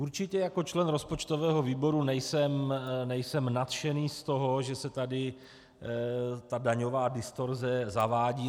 Určitě jako člen rozpočtového výboru nejsem nadšený z toho, že se tady ta daňová distorze zavádí.